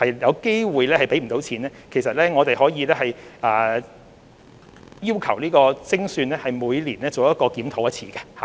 若計劃有可能資金不足，我們可以要求由精算師每年再作檢討。